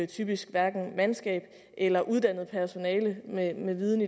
typisk hverken er mandskab eller uddannet personale med nok viden